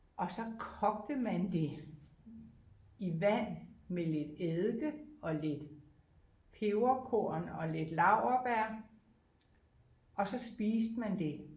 Og så kogte man det i vand med lidt eddike og lidt peberkorn og lidt laurbær og så spiste man det